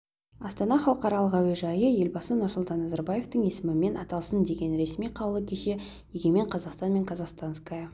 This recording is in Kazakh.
астана халықаралық әуежайы елбасы нұрсұлтан назарбаевтың есімімен аталсын деген ресми қаулы кеше егемен қазақстан мен казахстанская